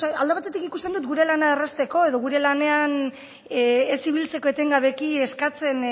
alde batetik ikusten dut gure lana errazteko edo gure lanean ez ibiltzeko etengabeki eskatzen